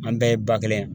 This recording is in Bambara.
An bɛɛ ye ba kelen ye